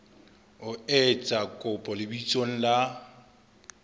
o etsa kopo lebitsong la